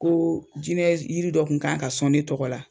Ko jinɛ yiri dɔ kun kan ka sɔn ne tɔgɔ la